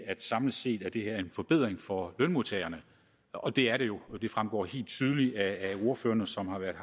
samlet set er en forbedring for lønmodtagerne og det er det jo det fremgår helt tydeligt af det som ordførerne som har været